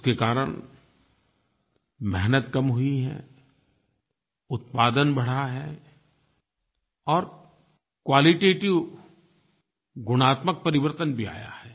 उसके कारण मेहनत कम हुई है उत्पादन बढ़ा है और क्वालिटेटिव गुणात्मक परिवर्तन भी आया है